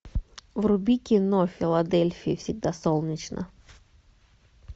вруби кино в филадельфии всегда солнечно